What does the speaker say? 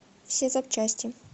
все запчасти